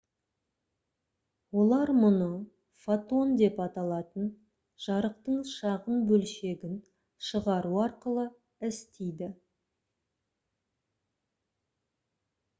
олар мұны «фотон» деп аталатын жарықтың шағын бөлшегін шығару арқылы істейді